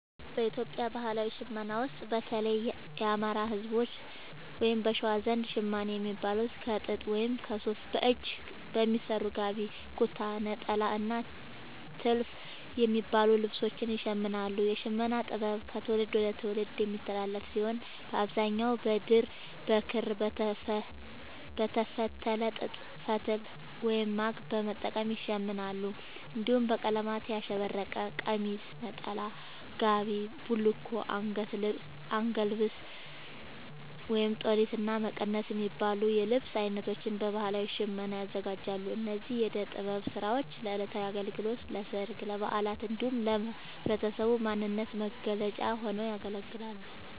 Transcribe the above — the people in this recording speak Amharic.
በኢትዮጵያ ባህላዊ ሽመና ውስጥ፣ በተለይም የአማራ፣ ህዝቦች(በሸዋ) ዘንድ ‘ሸማኔ’ የሚባሉት ከጥጥ ወይም ከሱፍ በእጅ በሚሰሩ ‘ጋቢ’፣ ‘ኩታ’፣ ‘ኔጣላ’ እና ‘ቲልፍ’ የሚባሉ ልብሶችን ይሽምናሉ። የሽመና ጥበቡ ከትውልድ ወደ ትውልድ የሚተላለፍ ሲሆን፣ በአብዛኛው በድር፣ በክር፣ በተፈተለ ጥጥ ፈትል(ማግ) በመጠቀም ይሸምናሉ። እንዲሁም በቀለማት ያሸበረቀ ቀሚስ፣ ነጠላ፣ ጋቢ፣ ቡልኮ፣ አንገት ልብስ(ጦሊት)፣እና መቀነት የሚባሉ የልብስ አይነቶችን በባህላዊ ሽመና ያዘጋጃሉ። እነዚህ የእደ ጥበብ ስራዎች ለዕለታዊ አገልግሎት፣ ለሠርግ፣ ለበዓላት እንዲሁም ለህብረተሰቡ ማንነት መገለጫ ሆነው ያገለግላሉ።